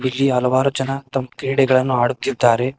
ಇಲ್ಲಿ ಹಲವಾರು ಜನ ತಮ್ ಕ್ರೀಡೆಗಳನ್ನು ಆಡುತ್ತಿದ್ದಾರೆ.